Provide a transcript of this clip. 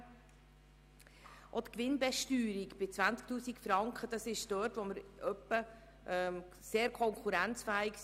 Bei der Gewinnbesteuerung von 20 000 Franken sind wir konkurrenzfähig.